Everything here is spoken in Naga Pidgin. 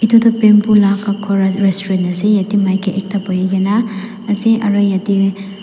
edu tu bamboo laga ghor restaurant ase yete maiki ekta buhi gina ase aro yete--